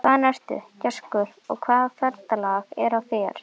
Hvaðan ertu, gæskur, og hvaða ferðalag er á þér?